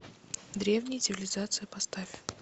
древние цивилизации поставь